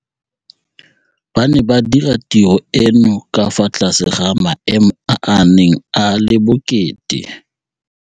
Ba ne ba dira tiro eno ka fa tlase ga maemo a a neng a le bokete.